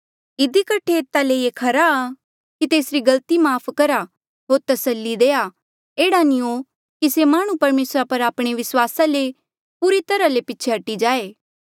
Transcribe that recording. इधी कठे ऐता ले ये खरा आ कि तेसरी गलती माफ़ करहा होर तस्सली देआ एह्ड़ा नी हो कि से माह्णुं परमेसरा पर आपणे विस्वासा ले पूरी तरहा ले पीछे हटी जाए